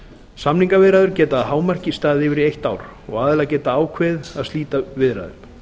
samningaviðræður geta að hámarki staðið yfir í eitt ár aðilar geta ákveðið að slíta viðræðum